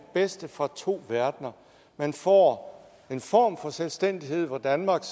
bedste fra to verdener man får en form for selvstændighed hvor danmark